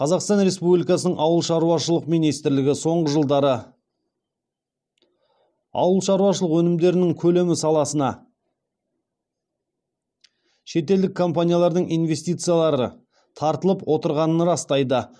қазақстан республикасының ауыл шаруашылық министрлігі соңғы жылдары ауыл шаруашылық өнімдерінің көлемі саласына шетелдік компаниялардың инвестицияларды тартылып отырғанын растайды